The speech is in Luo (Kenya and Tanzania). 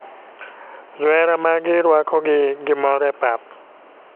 Johera mag gi ruako gi gi mor e pap.